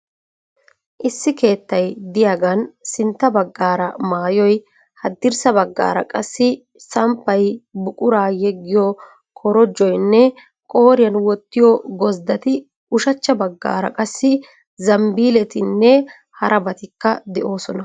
Issi keettay diyaagan sintta baggaara maayoy haddirssa baggaara qassi samppay, buquraa yeggiyoo korojjoynne qooriyan wottiyo gozdati ushachcha baggaara qassi zambiilletinne harabatikka de'oosona.